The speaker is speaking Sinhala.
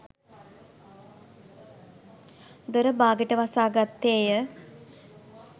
දොර බාගෙට වසාගත්තේය.